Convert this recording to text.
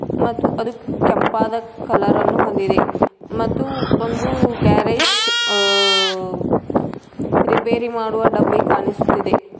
ಮತ್ತು ಅದು ಕೆಂಪಾದ ಕಲರನ್ನು ಹೊಂದಿದೆ ಮತ್ತು ಒಂದು ಗ್ಯಾರೇಜ್ ಅ ರಿಪೇರಿ ಮಾಡುವ ಡಬ್ಬಿ ಕಾಣಿಸುತ್ತಿದೆ.